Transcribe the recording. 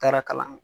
Taara kalan